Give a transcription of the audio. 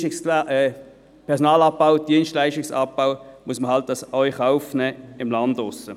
Personalabbau, Dienstleistungsabbau muss man dann eben auch draussen auf dem Lande in Kauf nehmen.